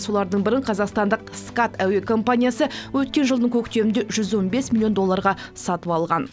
солардың бірін қазақстандық скат әуекомпаниясы өткен жылдың көктемінде жүз он бес миллион долларға сатып алған